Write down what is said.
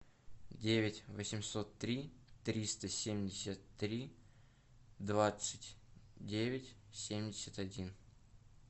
девять восемьсот три триста семьдесят три двадцать девять семьдесят один